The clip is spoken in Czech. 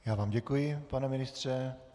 Já vám děkuji, pane ministře.